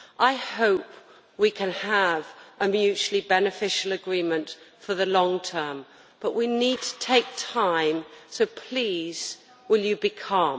I hope we can have a mutually beneficial agreement for the long term, but we need to take time. So please, will you be calm.